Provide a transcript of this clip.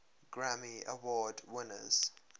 grammy award winners